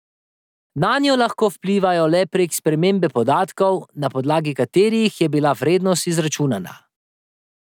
Nanjo lahko vplivajo le prek spremembe podatkov, na podlagi katerih je bila vrednost izračunana.